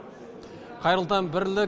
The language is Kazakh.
қайырлы таң бірлік